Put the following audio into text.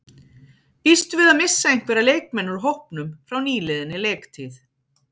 Býstu við að missa einhverja leikmenn úr hópnum frá nýliðinni leiktíð?